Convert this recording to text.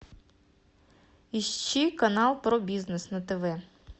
ищи канал про бизнес на тв